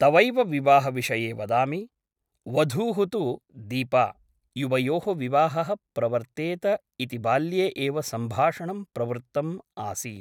तवैव विवाहविषये वदामि । वधूः तु दीपा । युवयोः विवाहः प्रवर्तेत इति बाल्ये एव सम्भाषणं प्रवृत्तम् आसीत् ।